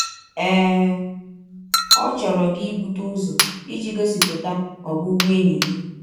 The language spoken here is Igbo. Ee, ọ chọrọ gị ibute ụzọ iji gọsipụta ọbụbụenyi gị.